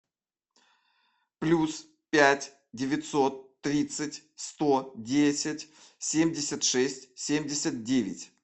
плюс пять девятьсот тридцать сто десять семьдесят шесть семьдесят девять